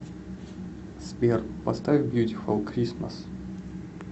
сбер поставь бьютифул кристмас